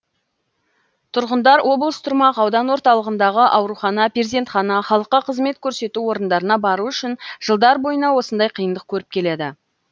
тұрғындар облыс тұрмақ аудан орталығындағы аурухана перзентхана халыққа қызмет көрсету орындарына бару үшін жылдар бойына осындай қиындық көріп келеді